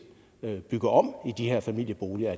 bygger om i de her familieboliger